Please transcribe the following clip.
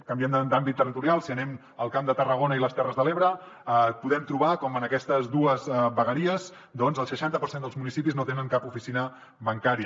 canviem d’àmbit territorial si anem al camp de tarragona i les terres de l’ebre podem trobar com en aquestes dues vegueries doncs el seixanta per cent dels municipis no tenen cap oficina bancària